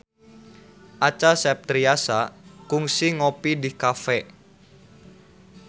Acha Septriasa kungsi ngopi di cafe